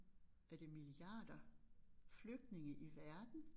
Er det milliarder flygtninge i verden